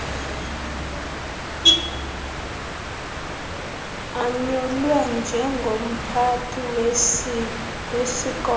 anyulwe njengomphathi wesikolo